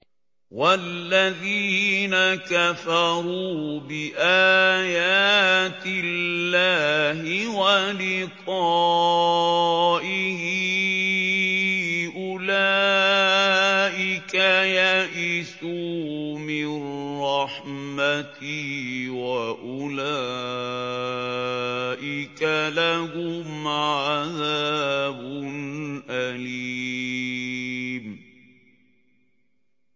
وَالَّذِينَ كَفَرُوا بِآيَاتِ اللَّهِ وَلِقَائِهِ أُولَٰئِكَ يَئِسُوا مِن رَّحْمَتِي وَأُولَٰئِكَ لَهُمْ عَذَابٌ أَلِيمٌ